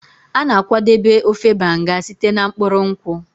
A na-akwadebe ofe Banga site na mkpụrụ nkwụ.